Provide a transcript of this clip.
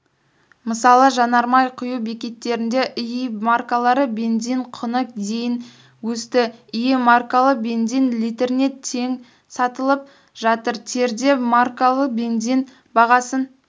мысалы жанармай құю бекеттерінде іи маркалы бензин құны дейін өсті іи маркалы бензин литріне тен сатылып жатыр терде маркалы бензин бағасын